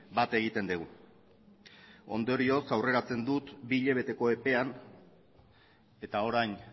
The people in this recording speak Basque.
bat egiten dugu ondorioz aurreratzen dut bi hilabeteko epean eta orain